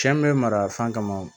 Cɛ min bɛ mara fan kama